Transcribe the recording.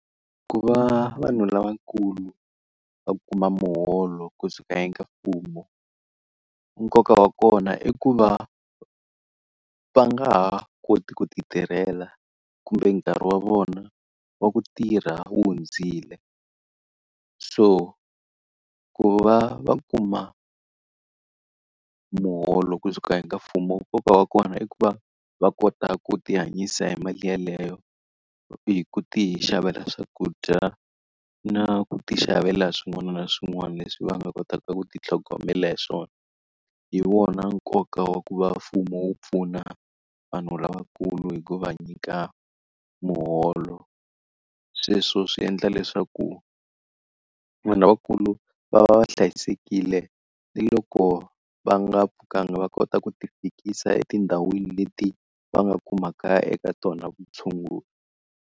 Ku va vanhu lavankulu va kuma muholo kusuka eka mfumo, nkoka wa kona i ku va va nga ha koti ku ti tirhela kumbe nkarhi wa vona wa ku tirha wu hundzile. So ku va va kuma muholo kusuka hi ka mfumo nkoka wa kona i ku va va kota ku tihanyisa hi mali yeleyo, hi ku tixavela swakudya na ku tixavela swin'wana na swin'wana leswi va nga kotaka ku titlhogomela hi swona. Hi wona nkoka wa ku va mfumo wu pfuna vanhu lavakulu hi ku va nyika muholo. Sweswo swi endla leswaku vanhu lavakulu va va hlayisekile ni loko va nga pfukanga va kota ku tifikisa etindhawini leti va nga kumaka eka tona vutshunguri.